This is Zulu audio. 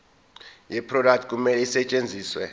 yeproduct kumele isetshenziswe